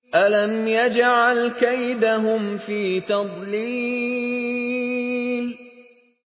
أَلَمْ يَجْعَلْ كَيْدَهُمْ فِي تَضْلِيلٍ